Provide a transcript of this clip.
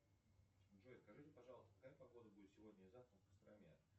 джой скажите пожалуйста какая погода будет сегодня и завтра в костроме